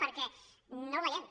perquè no el veiem